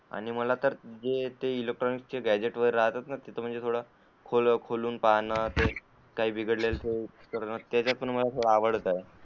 आणि मला तर ते इलेक्ट्रॉनिक्स चे गॅजेट्स वैगेरे राहतात ना, तिथं म्हणजे थोडं खोलून पाहणं, , काई बिघडलेलं का ते त्याच्यात पण मला थोडं ते आवडतंय.